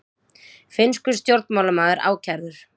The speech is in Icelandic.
Finnskur stjórnmálamaður ákærður